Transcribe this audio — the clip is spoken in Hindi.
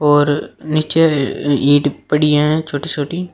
और नीचे इ ईंट पड़ी हैं छोटी छोटी।